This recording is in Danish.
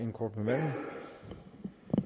det